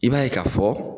I b'a ye ka fɔ